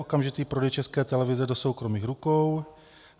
Okamžitý prodej České televize do soukromých rukou.